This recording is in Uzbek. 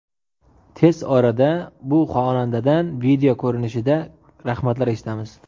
Tez orada bu xonandadan video ko‘rinishida rahmatlar eshitamiz.